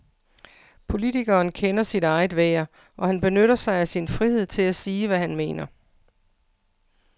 Politikeren kender sit eget værd, og han benytter sig af sin frihed til at sige, hvad han mener.